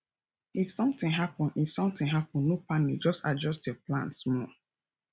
if sometin happen if sometin happen no panic just adjust your plan small